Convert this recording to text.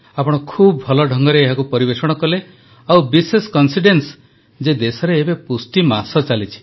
ଆପଣ ଖୁବ ଭଲ ଢଙ୍ଗରେ ଏହାକୁ ପରିବେଷଣ କଲେ ଆଉ ବିଶେଷ ସଂଯୋଗ ଯେ ଦେଶରେ ଏବେ ପୋଷଣ ମାସ ଚାଲିଛି